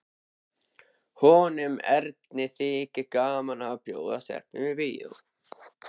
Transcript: Honum Erni þykir gaman að bjóða stelpum í bíó.